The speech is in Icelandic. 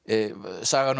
sagan um